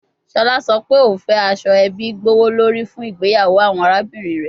Shola sọ pe o fẹ aso ebi gbowolori fun igbeyawo awọn arabinrin rẹ